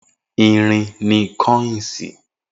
Irin ni kọ́ínsì